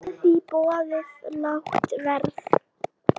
Geta því boðið lágt verð.